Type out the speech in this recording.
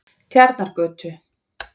Tjarnargötu